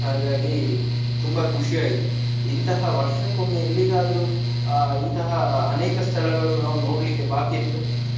ಹಾಗಾಗಿ ತುಂಬಾ ಖುಷಿ ಆಯ್ತು. ಇಂತಹ ವರ್ಷಕೊಮ್ಮೆ ಎಲ್ಲಿಗಾದ್ರೂ ಅಹ್ ಇಂತಹ ಅನೇಕ ಸ್ಥಳಗಳು ನಾವು ನೋಡ್ಲಿಕ್ಕೆ ಬಾಕಿ ಇರ್ತದೆ.